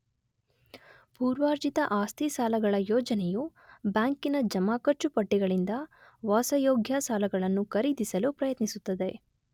ಪೂರ್ವಾರ್ಜಿತ ಆಸ್ತಿ ಸಾಲಗಳ ಯೋಜನೆಯು ಬ್ಯಾಂಕಿನ ಜಮಾಖರ್ಚು ಪಟ್ಟಿಗಳಿಂದ ವಾಸಯೋಗ್ಯ ಸಾಲಗಳನ್ನು ಖರೀದಿಸಲು ಪ್ರಯತ್ನಿಸುತ್ತದೆ.